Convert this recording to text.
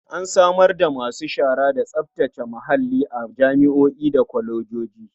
An samar da masu shara da tsaftace muhalli a jami'o'i da kwalejoji.